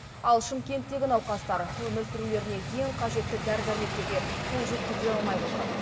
ал шымкенттегі науқастар өмір сүрулеріне ең қажетті дәрі дәрмектерге қол жеткізе алмай отыр